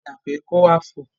Wọ́n padà pé kó wá fò.